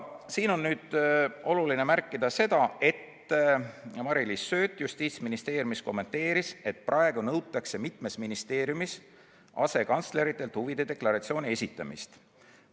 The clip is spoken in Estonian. Siin on oluline märkida seda, et Mari-Liis Sööt Justiitsministeeriumist kommenteeris, et praegu nõutakse mitmes ministeeriumis asekantsleritelt huvide deklaratsiooni esitamist.